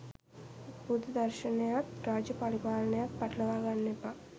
බුද්ධ දර්ශනයත් රාජ්‍ය පරිපාලනයත් පටලවා ගන්න එපා.